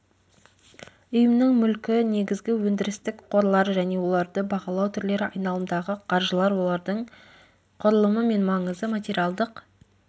ұйымның мүлкі негізгі өндірістік қорлар және оларды бағалау түрлері айналымдағы қаржылар олардың құрылымы мен маңызы материалдық